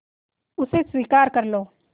उसे स्वीकार कर लो